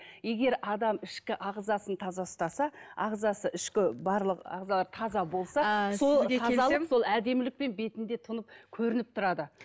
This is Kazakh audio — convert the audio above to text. егер адам ішкі ағзасын таза ұстаса ағзасы ішкі барлық ағзалар таза болса әдемілікпен бетінде тұнып көрініп тұрады